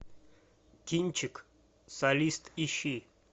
кинчик солист ищи